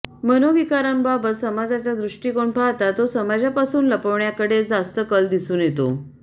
मनोविकारांबाबत समाजाचा दृष्टिकोन पाहता तो समाजापासून लपवण्याकडेच जास्त कल दिसून येतो